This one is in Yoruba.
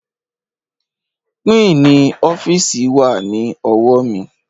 Pínǹì ọ́fíìsì wà ní ọwọ́ mi